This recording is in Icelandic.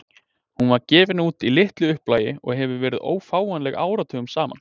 Hún var gefin út í litlu upplagi og hefur verið ófáanleg áratugum saman.